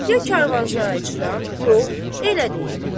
Ya karvan şahı açıdan yox, elə deyil.